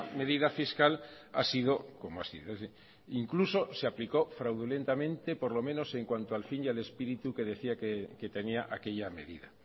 medida fiscal ha sido como ha sido es decir incluso se aplicó fraudulentamente por lo menos en cuanto al fin y al espíritu que decía que tenía aquella medida